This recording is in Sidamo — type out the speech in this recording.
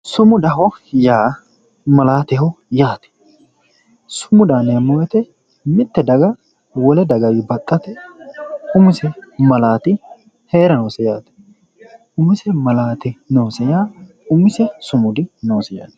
sumudaho yaa malaateho yaate sumudaho yineemmo woyte mitte daga wole dagawi baxxate umisi malaati heerannoho umisi malati heeranno yaa umisi sumudi noosi yaate .